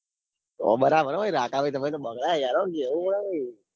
બરાબર હ હો રાંકાભાઈ તમે તો બગડ્યા યાર આમ કેવું પડે.